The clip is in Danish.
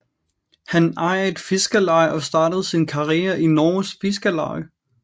Han ejer et fiskerleje og startede sin karriere i Norges Fiskarlag